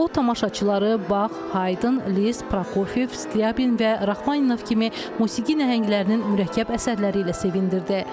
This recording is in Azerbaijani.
O tamaşaçıları Bax, Haydn, Liszt, Prokofiev, Skryabin və Rahmaninov kimi musiqi nəhənglərinin mürəkkəb əsərləri ilə sevindirdi.